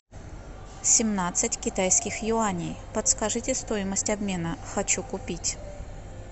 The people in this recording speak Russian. семнадцать китайских юаней подскажите стоимость обмена хочу купить